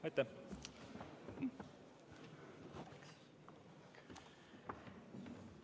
Aitäh!